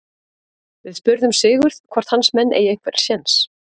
Við spurðum Sigurð hvort hans menn eigi einhvern séns?